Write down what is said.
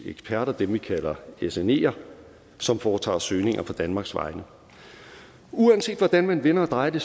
eksperter dem vi kalder sneer som foretager søgninger på danmarks vegne uanset hvordan man vender og drejer det